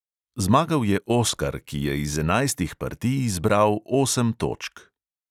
Zmagal je oskar, ki je iz enajstih partij izbral osem točk.